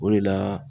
O de la